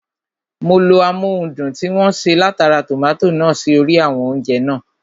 Mo lo amóhundùn tí wọ́n ṣe látara tòmátò náà sí orí àwọn oúnjẹ (fries) náà